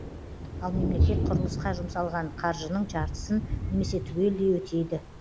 ал мемлекет құрылысқа жұмсалған қаржының жартысын немесе түгелдей өтейді